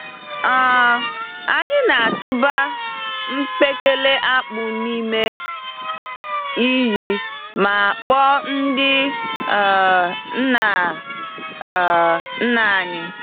um Anyị na-atụba mkpekele-akpụ n'ime iyi ma kpọọ ndị um nna um nna anyị.